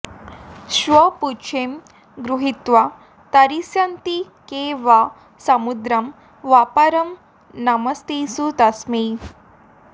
श्वपुच्छं गृहीत्वा तरिष्यन्ति के वा समुद्रं ह्यपारं नमस्तेऽस्तु तस्मै